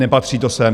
Nepatří to sem.